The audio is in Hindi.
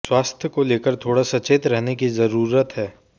स्वास्थ को लेकर थोङा सचेत रहने की जरुरत है